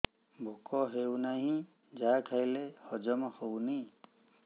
ଭୋକ ହେଉନାହିଁ ଯାହା ଖାଇଲେ ହଜମ ହଉନି